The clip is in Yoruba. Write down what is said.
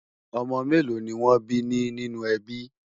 ọ̀mò mélò ní wón bí ní nínú ẹbí?